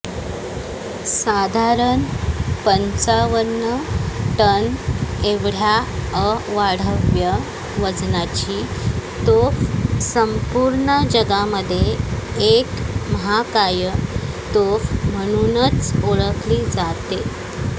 साधारण पंचावन्न टन एवढ्या अवाढव्य वजनाची तोफ संपूर्ण जगामध्ये एक महाकाय तोफ म्हणूनच ओळखली जाते